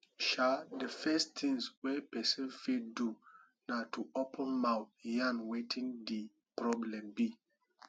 um the first thing wey person fit do na to open mouth yarn wetin di problem be